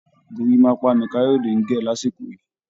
Gorímápá ni Kayode ń gẹ̀ lásìkò yìí